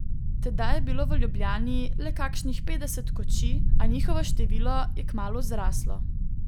Tedaj je bilo v Ljubljani le kakšnih petdeset kočij, a njihovo število je kmalu zraslo.